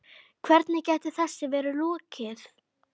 Hvernig gæti þessu verið lokið?